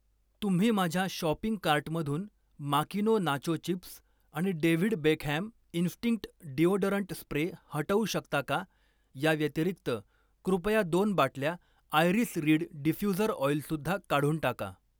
तुम्ही माझ्या शॉपिंग कार्टमधून माकिनो नाचो चिप्स आणि David Beckham instinct deodorant spray हटवू शकता का? या व्यतिरिक्त, कृपया दोन बाटल्या आयरीस रीड डिफ्यूझर ऑइल सुद्धा काढून टाका.